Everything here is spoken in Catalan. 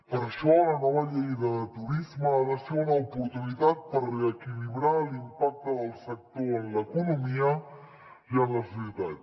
per això la nova llei de turisme ha de ser una oportunitat per reequilibrar l’impacte del sector en l’economia i en la societat